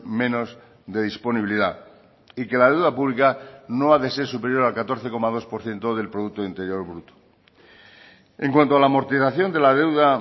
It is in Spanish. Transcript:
menos de disponibilidad y que la deuda pública no ha de ser superior al catorce coma dos por ciento del producto interior bruto en cuanto a la amortización de la deuda